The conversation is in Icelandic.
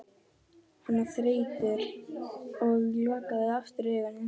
Hann var þreyttur og lokaði aftur augunum.